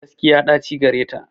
Gaskiya ɗaci gareta.